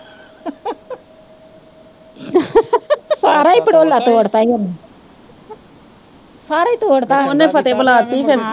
ਸਾਰਾ ਹੀ ਭੜੋੋਲਾ ਤੋੜਤਾ ਹੀ ਓਨੇੇ ਸਾਰਾ ਹੀ ਤੋੜਤਾ ਓਨੇ ਫਤਿਹ ਬੁਲਾਤੀ ਫਿਰ।